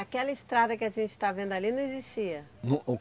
Aquela estrada que a gente está vendo ali não existia.